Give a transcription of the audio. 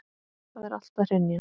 Það er allt að hrynja.